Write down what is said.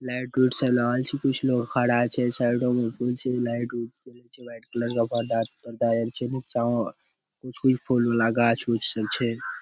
Light उट सब लागल छै कुछ लोग खड़ा छै साइडो मे लाइट उट जलय छै व्हाइट कलर पर्दा पर्दा आर छै नीचा अ कुछ कुछ फूल उल आ गाछ उच्छ सब छै ।